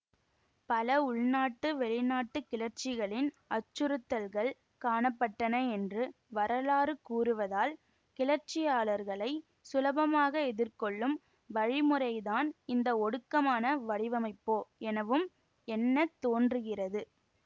பல உள்நாட்டு வெளிநாட்டு கிளர்ச்சிகளின் அச்சுறுத்தல்கள் காண பட்டன என்று வரலாறு கூறுவதால் கிளச்சியாளர்களைச் சுலபமாக எதிர்கொள்ளும் வழிமுறைதான் இந்த ஒடுக்கமான வடிவமைப்போ எனவும் எண்ணத் தோன்றுகிறது